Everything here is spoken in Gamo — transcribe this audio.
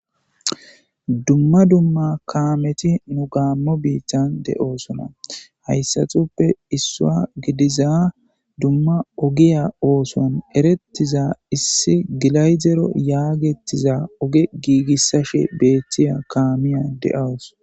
Dumma dumma kaameti nu gaammo biittan de'oosona hayssatuppe issua gidiza dumma ogiya ooson erettiza issi gilayzero yaagettiza oge giigissashe beettiya kaamiya de'awos.